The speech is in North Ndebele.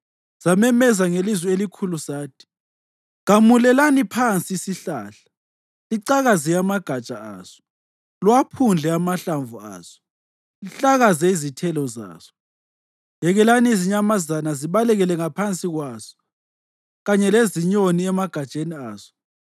Samemeza ngelizwi elikhulu sathi: Gamulelani phansi isihlahla licakaze amagatsha aso; liwaphundle amahlamvu aso lihlakaze izithelo zaso. Yekelani izinyamazana zibaleke ngaphansi kwaso kanye lezinyoni emagatsheni aso.